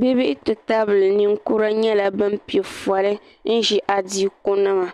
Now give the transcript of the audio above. bi bihi ti tabili ninkura nyɛla bin piɛ foli n ʒi adiiku nima